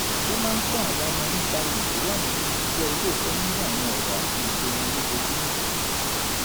ó máa ń kọ́ àwọn ọmọ nípa iyì tó wà ninú jíjẹ́ olóòótọ́ nínú àwọn ọ̀rọ̀ àti ìṣe wọn lójoojúmọ́